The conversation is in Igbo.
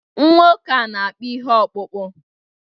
Nwoke a na-akpụ ihe ọkpụkpụ